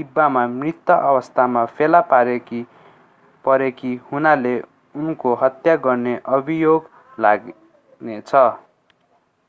डिब्बामा मृत अवस्थामा फेला परेकी हुनाले उनको हत्या गर्ने अभियोग लाग्नेछ